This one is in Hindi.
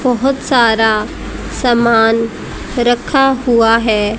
बहुत सारा सामान रखा हुआ है।